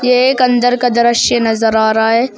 यह एक अंदर का दृश्य नजर आ रहा है।